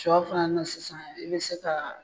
Sɔ fana na sisan i bɛ se ka